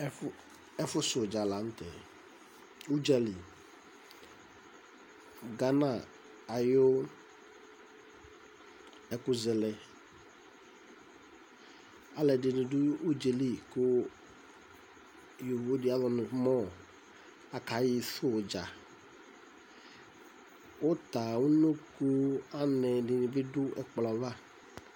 Ɛfʋsudza la nʋ tɛ, udzali Gana ayʋ ɛkʋzɛlɛ Alu ɛdɩnɩ du udza yɛ li, kʋ yovo di azɔyɩ nʋ MƆ akasɛ udza Uta, unoko, anɛ, ɛdɩnɩ bɩ du ɛkplɔ yɛ ava